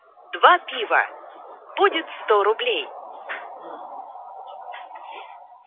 пиво будет руб